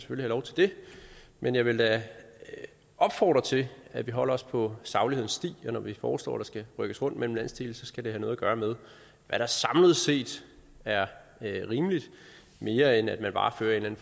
lov til det men jeg vil da opfordre til at vi holder os på saglighedens sti når vi foreslår at der skal rykkes rundt mellem landsdele så skal det have noget at gøre med hvad der samlet set er rimeligt mere end at man bare fører en